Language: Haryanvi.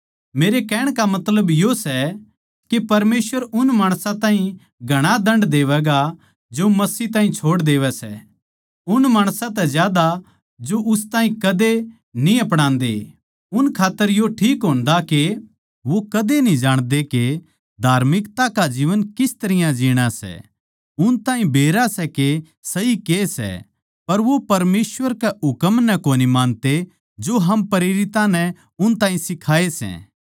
मेरे कहण का मतलब यो सै के परमेसवर उन माणसां ताहीं घणा दण्ड देवैगा जो मसीह ताहीं छोड़ देवै सै उन माणसां तै ज्यादा जो उस ताहीं कदे न्ही अपणादे उन खात्तर यो ठीक होन्दा के वो कदे न्ही जाणते के धार्मिकता का जीवन किस तरियां जीणा सै उन ताहीं बेरा सै के सही के सै पर वो परमेसवर के हुकम नै कोनी मानते जो हम प्रेरितां नै उन ताहीं सिखाये सै